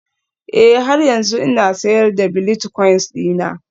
Ee, har yanzu ina sayar da bilitcoins dina